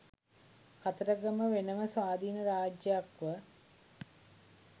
කතරගම වෙන ම ස්වාධීන රාජ්‍යයක් ව